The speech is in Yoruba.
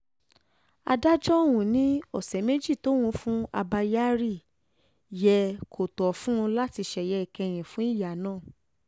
adájọ́ ọ̀hún ni ọ̀sẹ̀ méjì tóun fún abba kyari yẹ kó tó fún un láti ṣeye ìkẹyìn fún ìyá náà